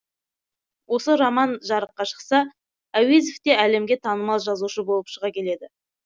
осы роман жарыққа шықса әуезов те әлемге танымал жазушы болып шыға келеді